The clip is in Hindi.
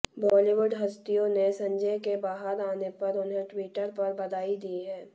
बॉलीवुड हस्तियों ने संजय के बाहर आने पर उन्हे ट्विटर पर बधाई दी है